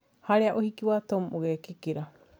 harĩa ũhiki wa Tom ũgeekĩka